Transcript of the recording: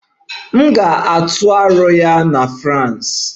M ga-atụ aro ya na France.